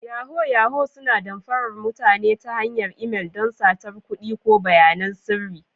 Yahoo-yahoo suna damfarar mutane ta hanyar imel don satar kuɗi ko bayanan sirri.